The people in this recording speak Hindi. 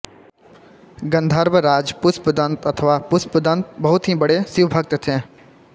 गंधर्वराज पुष्पदंत अथवा पुष्पदन्त बहुत ही बड़े शिवभक्त थे